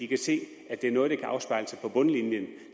kan se at det er noget der kan afspejle sig på bundlinjen